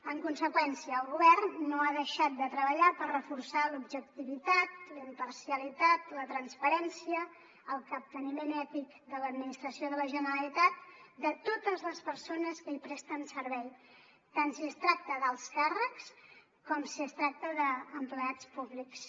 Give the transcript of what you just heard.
en conseqüència el govern no ha deixat de treballar per reforçar l’objectivitat la imparcialitat la transparència el capteniment ètic de l’administració de la generalitat de totes les persones que hi presten servei tant si es tracta d’alts càrrecs com si es tracta d’empleats públics